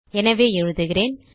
எனவே எழுதுகிறேன்